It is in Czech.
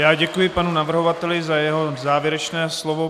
Já děkuji panu navrhovateli za jeho závěrečné slovo.